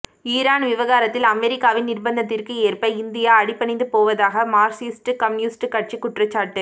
Iran விவகாரத்தில் அமெரிக்காவின் நிர்ப்பந்தத்திற்கு ஏற்ப இந்தியா அடிபணிந்து போவதாக மார்க்சிஸ்ட் கம்யூனிஸ்ட் கட்சி குற்றச்சாட்டு